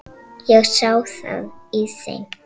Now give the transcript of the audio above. Ég sá það á þeim.